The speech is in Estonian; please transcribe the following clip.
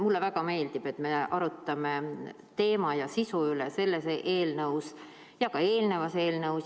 Mulle väga meeldib, et me arutame teema ja sisu üle, nii selle eelnõu kui ka eelneva eelnõu puhul.